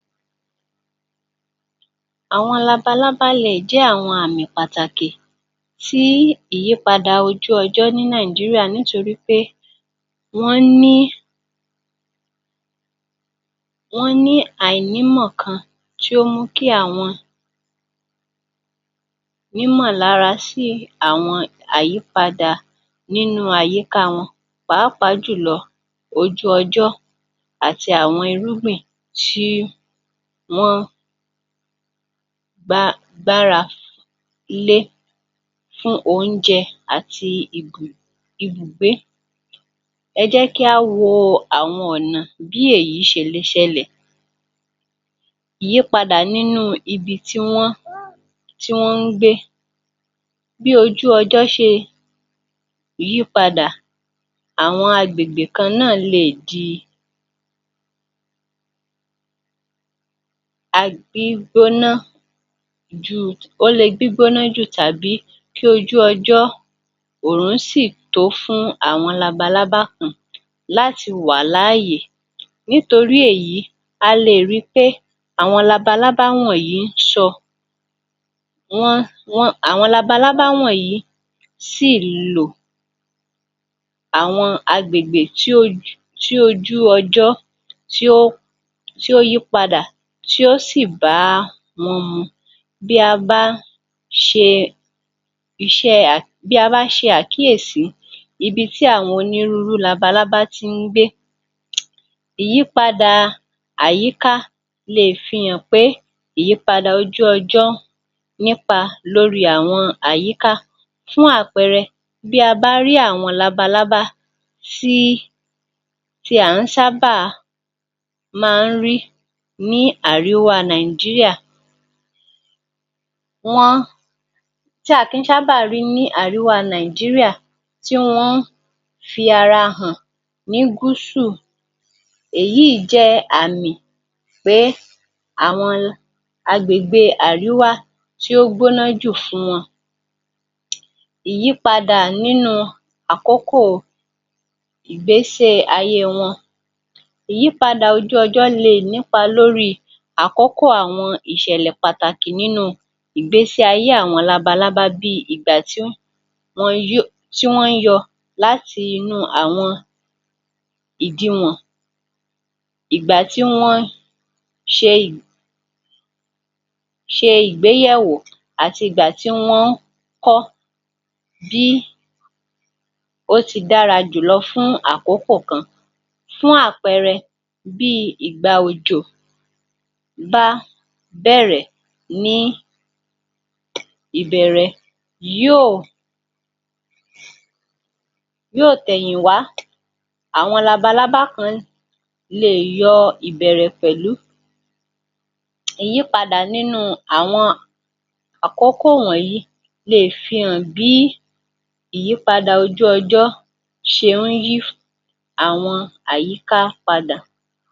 Àwọn labalábá le è jẹ́ àwọn àmì pàtàkì sí ìyípadà ojú ọjọ́ nítorí pé wọ́n ní wọ́n ní àìnímọ̀ kan tí ó mú kí àwọn nímọ̀lárà sí àwọn àyípadà nínú àyíká wọn pàápàá jù lọ ojú ọjọ́ àti àwọn irúgbìn tí wọ́n gbá gbára lé fún oúnjẹ àti ibù ibùgbé. ẹ jẹ́ kí á wo àwọn ọ̀nà bí èyí ṣe le è ṣẹlẹ̀, ìyípadà nínú ibi tí wọ́n tí wọ́n ń gbé, bí ojú ọjọ́ ṣe yípadà, àwọn agbègbè kan náà le è di um gbígbóná jù ó le gbígbóná jù tàbí kí ojú ọjọ́ òrùn sì tó fún àwọn labalábá kan láti wà láàyè. Nítorí èyí, a lè ri pé àwọn labalábá wọ̀nyí ńṣọ wọ́n wọ́n àwọn labalábá wọ̀nyí sì lò àwọn agbègbè tí um ojú ọjọ́ tí ó yípadà tí ó sì bá wọn mu. Bí a bá ṣe iṣẹ́ um bí a bá ṣe àkíyèsí ibi tí àwọn onírúurú labalábá tí ń gbé um ìyípadà àyíká le è fi hàn pé ìyípadà ojú ọjọ́ nípa lórí àwọn àyíká fún àpẹẹrẹ bí a bá rí àwọn labalábá tí tí a ǹ sábàá máa ń rí ní àríwá Nàìjíríà, wọ́n tí a kì ń sábàá má ńh rí ní àríwá nàìjíríà tí wọ́n fi ara hàn ní gúsù èyí jẹ́ àmì pé àwọn agbègbè àríwá tí ó gbóná jù fún wọn. Ìyípadà nínú àkókò igbésí ayé wọn. Ìyyípadà ojú ọjọ́ le è nípa lórí àkókò àwọn ìṣẹ̀lẹ̀ pàtàkì nínú ìgbésí ayé àwọn labalábá bí i ìgbà tí wọn yó tí wọ́n ń yọ láti inú àwọn ìdiwọ̀n ìgbà tí wọ́n ṣe ṣe ìgbéyẹ̀wò àti ìgbà tí wọ́n ń kọ́ bí ó ti dára jù lọ fún àkókò kan. Fún àpẹẹrẹ, bí i ìgbà òjò bá bẹ̀rẹ̀ ní ìbẹ̀ẹ̀rẹ̀ yóò yóò tẹ̀yìn wá. Àwọn labalábá kan lè yọ ìbẹ̀ẹ̀rẹ̀ pẹ̀lú ìyípadà nínú àwọn àkókò wọ̀nyí le è fihàn bí ìyípadà ojú ọjọ́ ṣe ń yí àwọn àyíká padà.